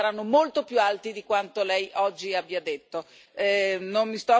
Non mi soffermo l'hanno già detto alcuni colleghi si arriva a cifre molto molto